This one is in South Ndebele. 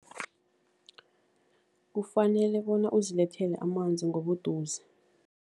Kufanele bona uzilethele amanzi ngobuduze.